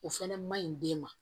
O fɛnɛ maɲi den ma